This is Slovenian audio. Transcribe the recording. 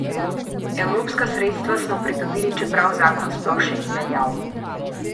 Evropska sredstva smo pridobili, čeprav zakon sploh še ni veljal.